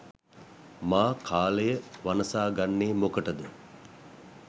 මා කාලය වනසාගන්නේ මොකටද.